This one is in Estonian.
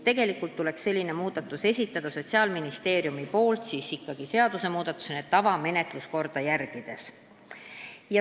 Tegelikult peaks sellise ettepaneku esitama Sotsiaalministeerium seadusmuudatusena tavalist menetluskorda järgides.